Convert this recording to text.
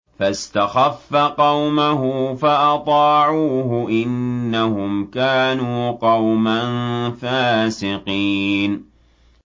فَاسْتَخَفَّ قَوْمَهُ فَأَطَاعُوهُ ۚ إِنَّهُمْ كَانُوا قَوْمًا فَاسِقِينَ